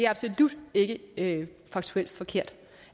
absolut ikke ikke faktuelt forkert